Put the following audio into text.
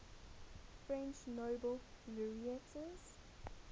french nobel laureates